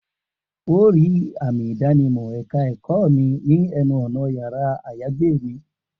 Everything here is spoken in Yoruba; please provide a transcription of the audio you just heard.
O óò rí àmì ìdánimọ̀ ẹ̀ka ẹ̀kọ́ mi ní ẹnu ọ̀nà yàrá-àyágbé mi